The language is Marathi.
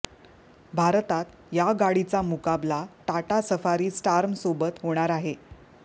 भारतात या गाडीचा मुकाबला टाटा सफारी स्टार्मसोबत होणार आहे